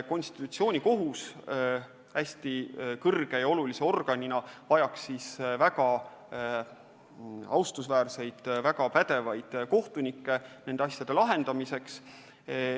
Konstitutsioonikohus hästi kõrge ja olulise organina vajaks väga austusväärseid, väga pädevaid kohtunikke nende asjade lahendamiseks.